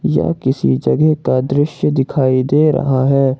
यह किसी जगह का दृश्य दिखाई दे रहा है।